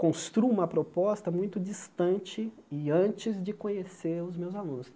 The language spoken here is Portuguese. construo uma proposta muito distante e antes de conhecer os meus alunos.